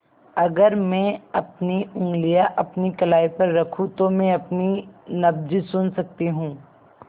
अगर मैं अपनी उंगलियाँ अपनी कलाई पर रखूँ तो मैं अपनी नब्ज़ सुन सकती हूँ